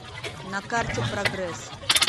на карте прогресс